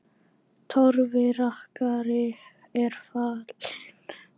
Torfi rakari er fallinn frá.